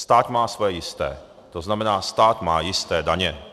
Stát má svoje jisté, to znamená stát má jisté daně.